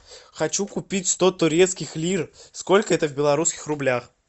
хочу купить сто турецких лир сколько это в белорусских рублях